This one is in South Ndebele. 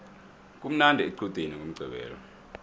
kumnandi equdeni ngomqqibelo